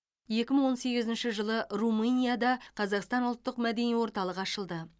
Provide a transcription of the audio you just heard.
екі мың он сегізінші жылы румынияда қазақстан ұлттық мәдени орталығы ашылды